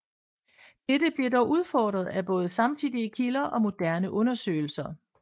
Dette bliver dog udfordret af både samtidige kilder og moderne undersøgelser